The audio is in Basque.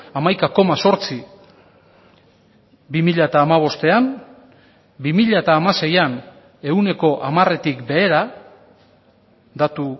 hamaika koma zortzi bi mila hamabostean bi mila hamaseian ehuneko hamaretik behera datu